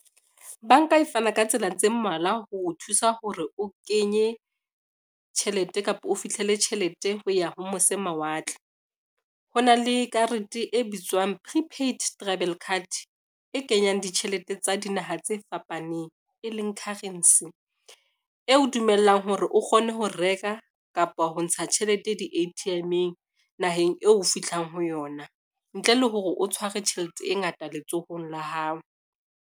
Banka e fana ka tsela tse mmalwa ho o thusa hore o kenye tjhelete kapa o fihlele tjhelete ho ya ho mose mawatle. Ho na le karete e bitswang prepaid travel card, e kenyang ditjhelete tsa dinaha tse fapaneng e leng currency. Eo dumellang hore o kgone ho reka kapa ho ntsha tjhelete di-A_T_M-eng naheng eo fithlang ho yona ntle le hore o tshware tjhelete e ngata letsohong la hao.